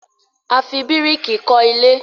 a fí biriki kò ilé